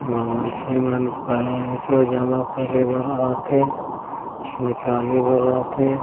एमा मन से मन पेसे जमा करे भर आत है निकाले भर आत है।